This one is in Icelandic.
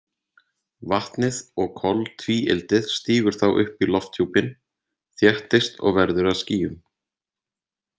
Vatnið og koltvíildið stígur þá upp í lofthjúpinn, þéttist og verður að skýjum.